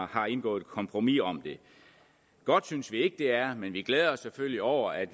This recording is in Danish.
har indgået et kompromis om det godt synes vi ikke det er men vi glæder os selvfølgelig over at